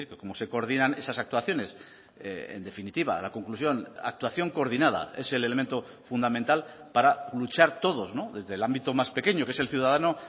cómo se coordinan esas actuaciones en definitiva la conclusión actuación coordinada es el elemento fundamental para luchar todos desde el ámbito más pequeño que es el ciudadano